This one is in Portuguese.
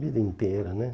Vida inteira, né?